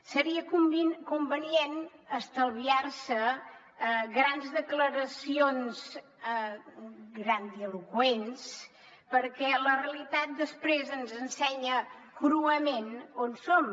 seria convenient estalviar se grans declaracions grandiloqüents perquè la realitat després ens ensenya cruament on som